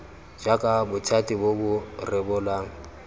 jaaka bothati bo bo rebolang